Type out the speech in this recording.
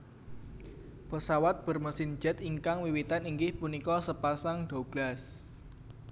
Pesawat bermesin jet ingkang wiwitan inggih punika sepasang Douglas